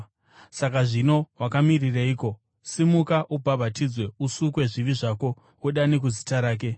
Saka zvino wakamirireiko? Simuka ubhabhatidzwe usukwe zvivi zvako, udane kuzita rake.’